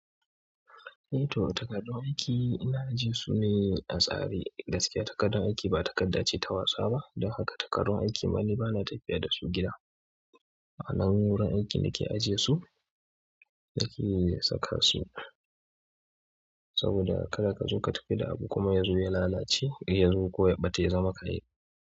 Eh to takardun aiki ina ajiye su ne a tsari, gaskiya takardun aiki ba takarda ce ta wasa ba don haka takardun aiki ma ni ba na tafiya da su gida. Anan wurin aikin da ke ajiye su, nake saka su. Saboda kada ka zo ka tafi da abu kuma ya zo ya lalace, ya zo ko ya bata ya zama ƙaye.